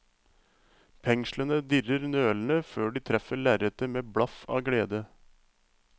Penslene dirrer nølende før de treffer lerretet med blaff av glede.